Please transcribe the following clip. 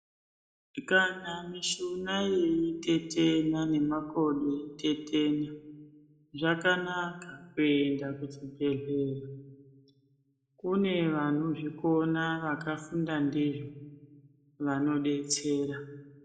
Kana mishuna yeyitetena nemakodo eyitetena zvakanaka kuenda kuchibhedhlera kune vanozvikona vakafunda ndizvo vanobetsera